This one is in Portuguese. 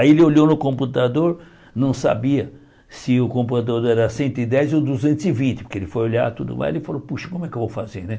Aí ele olhou no computador, não sabia se o computador era cento e dez ou duzentos e vinte, porque ele foi olhar tudo, lá ele falou, puxa, como é que eu vou fazer, né?